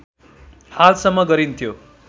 हालसम्म गरिन्थ्यो